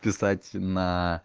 писать на